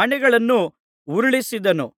ಮಣೆಗಳನ್ನು ಉರುಳಿಸಿದನು